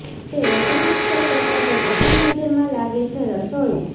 તે વધુ મુશ્કેલ કરતાં તે પ્રથમ નજરમાં લાગે છે રસોઇ